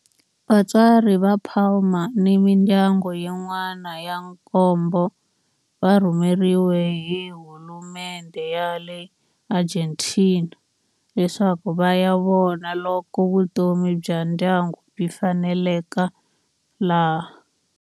Vatswari va Palma ni mindyangu yin'wana ya nkombo va rhumeriwe hi hulumendhe ya le Argentina leswaku va ya vona loko vutomi bya ndyangu byi faneleka laha.